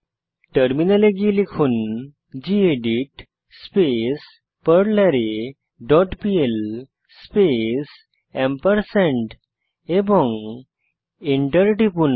টার্মিনালে গিয়ে লিখুন গেদিত স্পেস পারলারে ডট পিএল স্পেস এবং এন্টার টিপুন